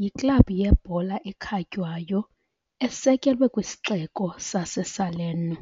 yiklabhu yebhola ekhatywayo esekelwe kwisixeko sase Salerno .